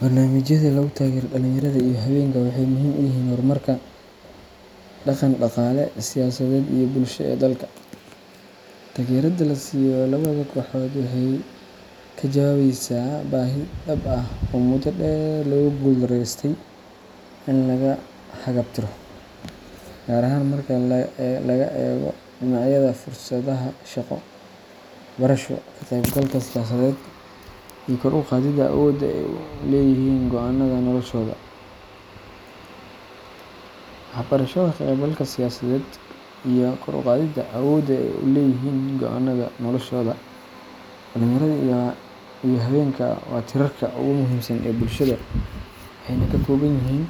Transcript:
Barnaamijyada lagu taageero dhalinyarada iyo haweenka waxay muhiim u yihiin horumarka dhaqan-dhaqaale, siyaasadeed, iyo bulsho ee dalka. Taageerada la siiyo labada kooxood waxay ka jawaabaysaa baahi dhab ah oo muddo dheer lagu guul-darreystay in laga haqabtiro, gaar ahaan marka laga eego dhinacyada fursadaha shaqo, waxbarasho, ka qaybgalka siyaasadeed, iyo kor u qaadidda awoodda ay u leeyihiin go’aannada noloshooda. Dhalinyarada iyo haweenku waa tiirarka ugu muhiimsan ee bulshada, waxayna ka kooban yihiin